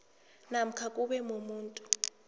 namkha kube mumuntu